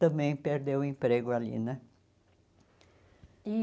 também perdeu o emprego ali, né? E